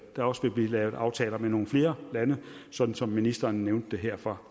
der også vil blive lavet aftaler med nogle flere lande sådan som ministeren nævnte det her fra